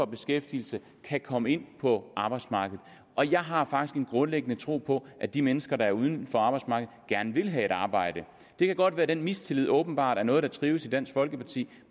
beskæftigelse kan komme ind på arbejdsmarkedet jeg har faktisk en grundlæggende tro på at de mennesker der er uden for arbejdsmarkedet gerne vil have et arbejde det kan godt være at den mistillid åbenbart er noget der trives i dansk folkeparti